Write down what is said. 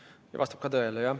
See vastab tõele.